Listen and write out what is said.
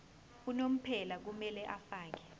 unomphela kumele afakele